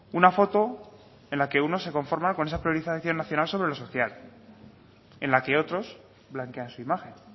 una foto en la que uno se conforma con esa priorización nacional sobre lo social en la que otros blanquean su imagen